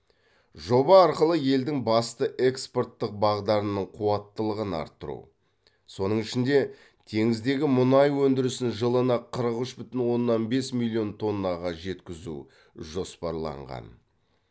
жоба арқылы елдің басты экпорттық бағдарының қуаттылығын арттыру соның ішінде теңіздегі мұнай өндірісін жылына қырық үш бүтін оннан бес миллион тоннаға жеткізу жоспарланған